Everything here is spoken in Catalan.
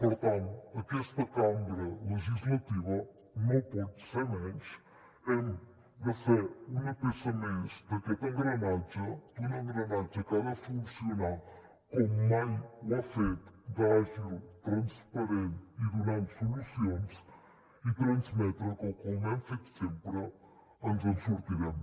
per tant aquesta cambra legislativa no pot ser menys hem de ser una peça més d’aquest engranatge d’un engranatge que ha de funcionar com mai ho ha fet d’àgil transparent i donant solucions i transmetre que com hem fet sempre ens en sortirem